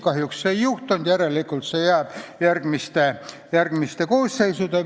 Kahjuks seda ei juhtunud, järelikult jääb see järgmistele koosseisudele.